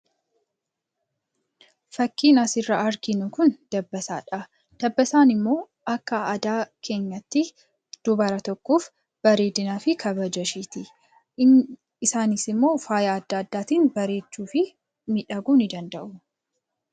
Fakkiin asirraa arginu kun dabbasaa dha. Dabbasaan immoo akka aadaa keenyaatti dubara tokkoof bareedinaa fi kabaja ishiiti. Isaanis immoo faaya adda addaatiin bareechuu fi miidhaguu ni danda'u.